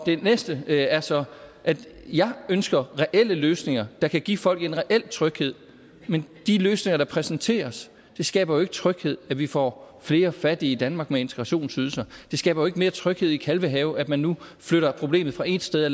det næste er så at jeg ønsker reelle løsninger der kan give folk en reel tryghed men de løsninger der præsenteres skaber jo ikke tryghed når vi får flere fattige i danmark med integrationsydelse det skaber jo ikke mere tryghed i kalvehave at man nu flytter problemet fra et sted